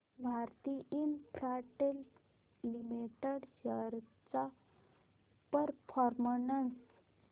Bharti Infratel limited shares चा performance